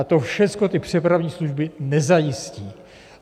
A to všecko ty přepravní služby nezajistí.